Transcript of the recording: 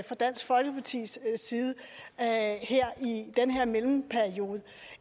fra dansk folkepartis side i den her mellemperiode